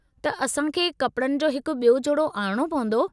त असां खे कपड़नि जो हिकु ॿियो जोड़ो आणिणो पंवदो।